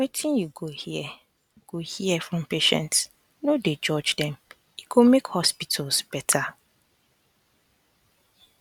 wetin you go hear go hear from patients no dey judge dem e go make hospitals better